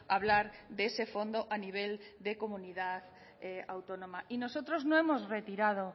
hablar de ese fondo a nivel de comunidad autónoma y nosotros no hemos retirado